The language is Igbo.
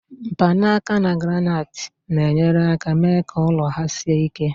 mkpanaka na granaiti na-enyere aka mee ka ụlọ ahụ sie ike